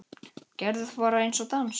Gerðu það, bara einn dans.